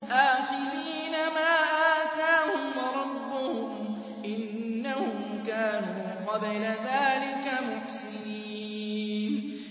آخِذِينَ مَا آتَاهُمْ رَبُّهُمْ ۚ إِنَّهُمْ كَانُوا قَبْلَ ذَٰلِكَ مُحْسِنِينَ